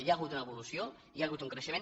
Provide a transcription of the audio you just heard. hi ha hagut una evolució hi ha hagut un creixement